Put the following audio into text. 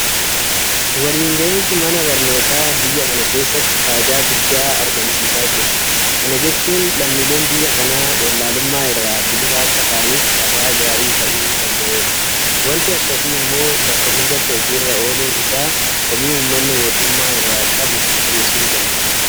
Waliin gahinsi mana barnootaa biyya kana keessatti faayidaa guddaa argamsiisaa jira. Kana jechuun lammiileen biyya kanaa wallaalummaa irraa bilisa akka ta'aniif carraa gaarii ta'uu danda'eera. Waanti akkasii immoo bakka hundatti hojii irra ooluun isaa komii uummanni mootummaa irraa qabu hir'isuu danda'a.